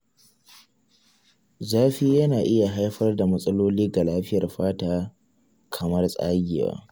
Zafi yana iya haifar da matsaloli ga lafiyar fata kamar tsagewa.